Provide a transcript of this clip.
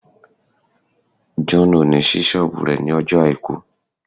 John will not open his shop on Sunday